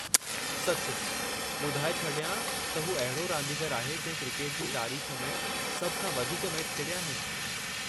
सचु। ॿधाए छॾियां त हू अहिड़ो रांदीगरु आहे जंहिं क्रिकेट जी तारीख़ में सभ खां वधीक मैच खेॾिया आहिनि।